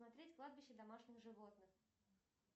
смотреть кладбище домашних животных